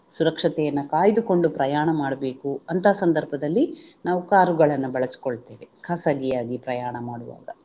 ಸುರಕ್ಷತೆಯನ್ನ ಕಾಯ್ದುಕೊಂಡು ಪ್ರಯಾಣ ಮಾಡ್ಬೇಕು ಅಂತ ಸಂಧರ್ಭದಲ್ಲಿ ನಾವು ಕಾರುಗಳನ್ನು ಬಳಸಕೊಳ್ಳತ್ತೇವೆ ಖಾಸಗಿಯಾಗಿ ಪ್ರಯಾಣ ಮಾಡುವಾಗ